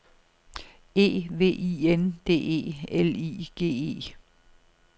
E V I N D E L I G E